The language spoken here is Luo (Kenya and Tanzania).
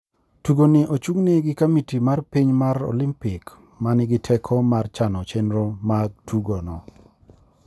Tugo ni ochungne gi komiti mar piny mar Olimpik ma ni gi teko mar chano chenro mag tugo no,